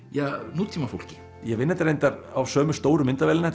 nútímafólki ég vinn þetta reyndar á sömu stóru myndavélina